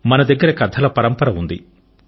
మన దగ్గర కథల పరంపర ఉంది